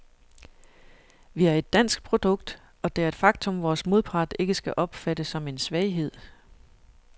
Vi er et dansk produkt, og det er et faktum, vores modpart ikke skal opfatte som en svaghed.